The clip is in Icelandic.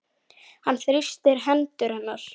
Hann þrýstir hendur hennar.